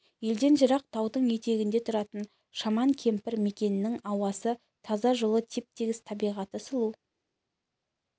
елден жырақ таудың етегінде тұратын шаман кемпір мекенінің ауасы таза жолы теп-тегіс табиғаты сұлу